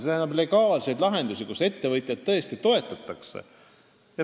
See tähendab legaalseid lahendusi, millega ettevõtjaid tõesti toetatakse.